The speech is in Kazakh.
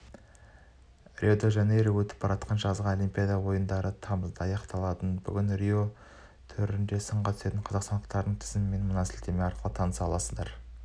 рио-де-жанейрода өтіп жатқан жазғы олимпиада ойындары тамызда аяқталады бүгін рио төрінде сынға түсетін қазақстандықтардың тізімімен мына сілтеме арқылы таныса аласыздар